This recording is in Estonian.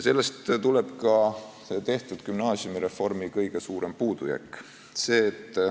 Sellest tuleb ka gümnaasiumireformi kõige suurem puudujääk.